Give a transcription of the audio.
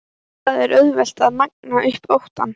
Það er auðvelt að magna upp óttann.